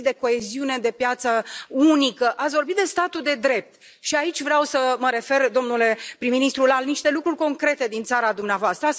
Ați vorbit de coeziune, de piață unică, ați vorbit de statul de drept și aici vreau să mă refer, domnule prim ministru, la niște lucruri concrete din țara dumneavoastră.